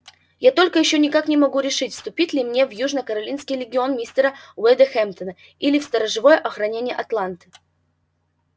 я только ещё никак не могу решить вступить ли мне в южно-каролинский легион мистера уэйда хэмптона или в сторожевое охранение атланты